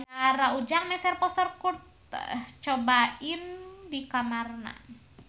Ujang masang poster Kurt Cobain di kamarna